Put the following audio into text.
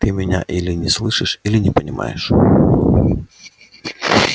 ты меня или не слышишь или не понимаешь